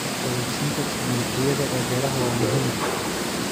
Awood-siinta tignoolajiyada ee beeraha waa muhiim.